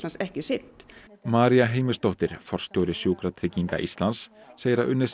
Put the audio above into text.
ekki sinnt María Heimisdóttir forstjóri Sjúkratrygginga Íslands segir að unnið sé